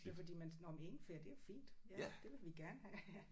Ja fordi man nåh men ingefær det er jo fint ja det vil vi gerne have ja